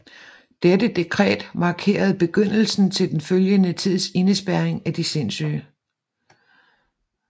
Dette dekret markerede begyndelsen til den følgende tids indespærring af de sindssyge